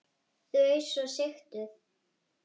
Þau svo sigtuð.